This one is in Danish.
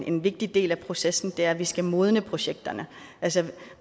en vigtig del af processen og det er at vi skal modne projekterne altså